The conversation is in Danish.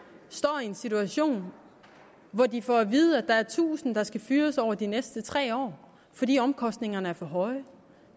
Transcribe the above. står i en situation hvor de får at vide at der er tusind der skal fyres over de næste tre år fordi omkostningerne er for høje